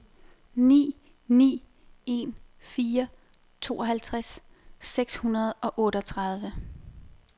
ni ni en fire tooghalvtreds seks hundrede og otteogtredive